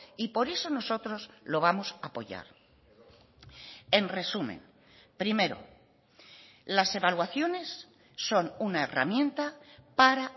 y por eso nosotros lo vamos a apoyar en resumen primero las evaluaciones son una herramienta para